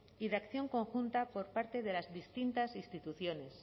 y de acción conjunta por parte de las distintas instituciones